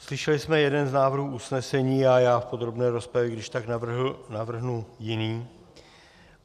Slyšeli jsme jeden z návrhů usnesení a já v podrobné rozpravě když tak navrhnu jiný.